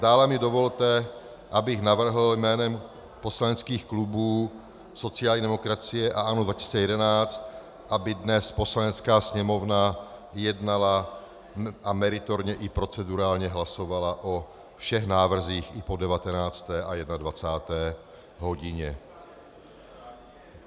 Dále mi dovolte, abych navrhl jménem poslaneckých klubů sociální demokracie a ANO 2011, aby dnes Poslanecká sněmovna jednala a meritorně i procedurálně hlasovala o všech návrzích i po 19. a 21. hodině.